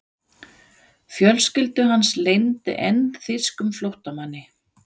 Fjölskylda hans leyndi enn þýskum flóttamanni.